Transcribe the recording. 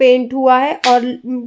paint हुआ है और उम् --